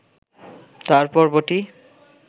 তার পর্বটি